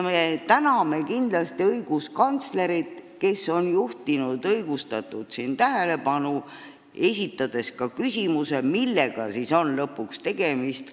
Me täname kindlasti õiguskantslerit, kes on õigustatult probleemile tähelepanu juhtinud, esitades ka küsimuse, millega on lõpuks tegemist.